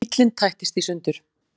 Bíllinn tættist í sundur